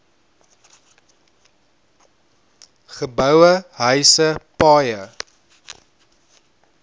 geboue huise paaie